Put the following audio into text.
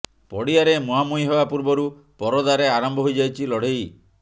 ପଡିଆରେ ମୁହାଁମୁହିଁ ହେବା ପୂର୍ବରୁ ପରଦାରେ ଆରମ୍ଭ ହୋଇଯାଇଛି ଲଢ଼େଇ